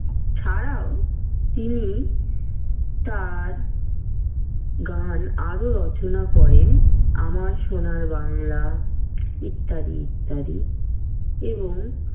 ছাড়াও তিনি তাঁর গান আরো রচনা করেন আমার সোনার বাংলা ইত্যাদি ইত্যাদি এবং।